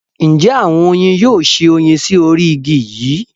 Njẹ awọn oyin yoo ṣe oyin sí orí igi yíì?